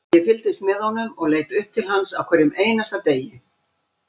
Ég fylgdist með honum og leit upp til hans á hverjum einasta degi,